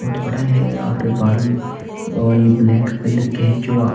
बहुत बड़ा है और बादल और ये ब्लैक कलर के हैं जो आ--